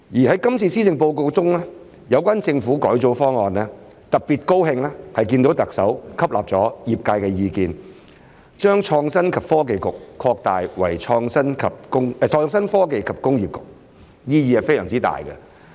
在今次的施政報告中，有關政府改組方案，特別高興看見特首吸納了業界的意見，將創新及科技局擴大為創新科技及工業局，意義非常重大。